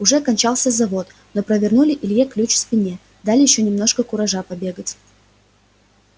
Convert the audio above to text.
уже кончался завод но провернули илье ключ в спине дали ещё немножко куража побегать